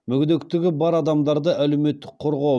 мүгедектігі бар адамдарды әлеуметтік қорғау